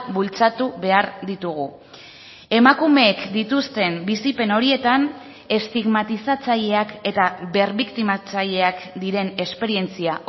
bultzatu behar ditugu emakumeek dituzten bizipen horietan estigmatizatzaileak eta berbiktimatzaileak diren esperientzia